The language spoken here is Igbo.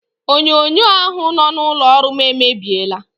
Onyonyo ahụ nọ n'ụlọ ọrụ m emebiela.